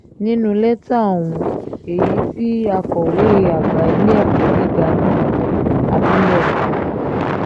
nínú lẹ́tà ọ̀hún èyí tí akọ̀wé àgbà ilé-ẹ̀kọ́ gíga náà abilékọ m